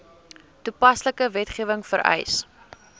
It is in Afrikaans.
toepaslike wetgewing vereis